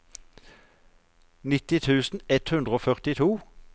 nitti tusen ett hundre og førtito